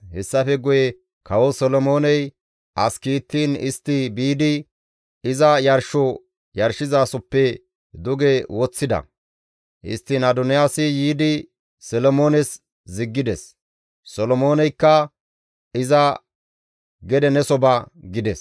Hessafe guye kawo Solomooney as kiittiin istti biidi iza yarsho yarshizasoppe duge woththida; histtiin Adoniyaasi yiidi Solomoones ziggides; Solomooneykka iza, «Gede neso ba» gides.